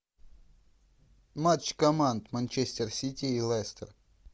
матч команд манчестер сити и лестер